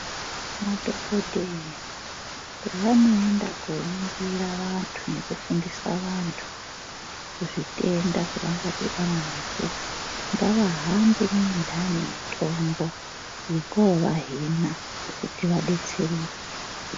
Madhokodheya pavanoenda koningira vantu nekufundisa vantu ngezvitenda zvavangadhibana nazvo ngavahambe ne indani mitombo yekovahina